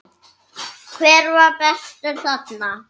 Hver var bestur þarna?